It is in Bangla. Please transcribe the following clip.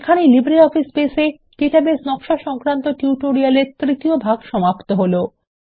এখানেই লিব্রিঅফিস বেস এ ডাটাবেস নকশা সংক্রান্ত টিউটোরিয়াল এর তৃতীয় ভাগ সমাপ্ত হলো